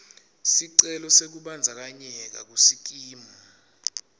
sicelo sekubandzakanyeka kusikimu